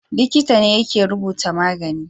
Likita ne yake rubuta magani